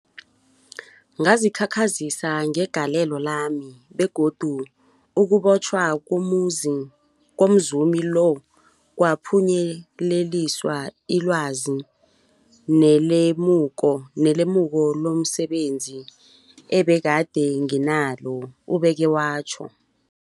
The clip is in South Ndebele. Ngazikhakhazisa ngegalelo lami, begodu ukubotjhwa komzumi lo kwaphunyeleliswa lilwazi nelemuko lomse benzi ebegade nginalo, ubeke watjho.